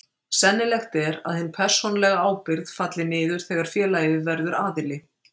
Sennilegt er að hin persónulega ábyrgð falli niður þegar félagið verður aðili.